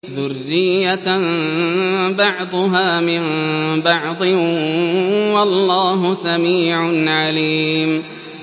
ذُرِّيَّةً بَعْضُهَا مِن بَعْضٍ ۗ وَاللَّهُ سَمِيعٌ عَلِيمٌ